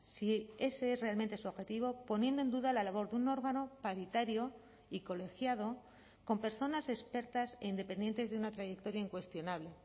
si ese es realmente su objetivo poniendo en duda la labor de un órgano paritario y colegiado con personas expertas e independientes de una trayectoria incuestionable